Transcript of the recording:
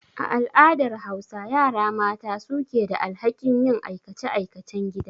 A al'adar Hausa, yara mata su ke da alhakin yin aikace-aikacen gida.